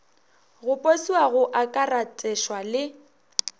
go posiwa go akaratešwa le